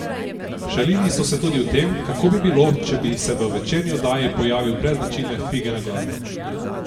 Šalili so se tudi o tem, kako bi bilo, če bi se v večerni oddaji pojavil brez značilne fige na glavi.